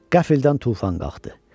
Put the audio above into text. Qəfildən tufan qalxdı.